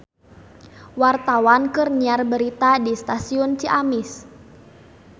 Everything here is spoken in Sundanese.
Wartawan keur nyiar berita di Stasiun Ciamis